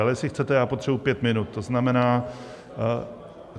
Ale jestli chcete, já potřebuji pět minut, to znamená -